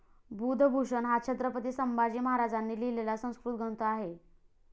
बुधभूषण हा छत्रपती संभाजी महाराजांनी लिहिलेला संस्कृत ग्रंथ आहे.